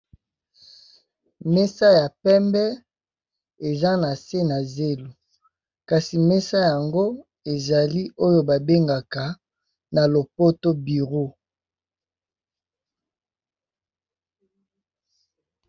Mesa ya pembe eza na sé na zelo kasi mesa Yango eza oyo ba bengaka na lopoto bureau.